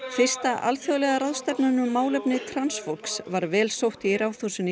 fyrsta alþjóðlega ráðstefnan um málefni transfólks var vel sótt í Ráðhúsinu í